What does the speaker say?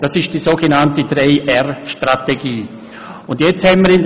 Das entspricht der sogenannten 3-R-Strategie (Replace, Reduce, Refine).